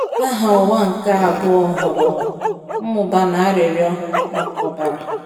Agha Ụwa nke Abụọ hụrụ mmụba na arịrịọ maka ọbara.